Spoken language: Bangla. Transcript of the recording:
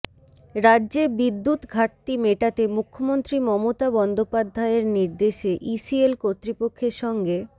রাজ্যে বিদ্যুত্ ঘাটতি মেটাতে মুখ্যমন্ত্রী মমতা বন্দ্যোপাধ্যায়ের নির্দেশে ইসিএল কর্তৃপক্ষের সঙ্গে